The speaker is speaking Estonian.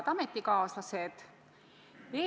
Head ametikaaslased!